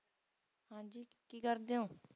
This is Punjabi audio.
ਹਾਂਜੀ ਕੀ ਕਰਦੇ ਹੋਂ?